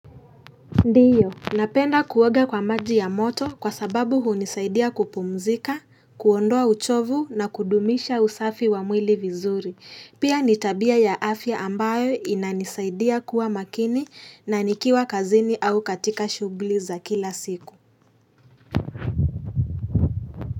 Ndio, napenda kuoga kwa maji ya moto kwa sababu hunisaidia kupumzika, kuondoa uchovu na kudumisha usafi wa mwili vizuri. Pia ni tabia ya afya ambayo inanisaidia kuwa makini na nikiwa kazini au katika shughuli za kila siku.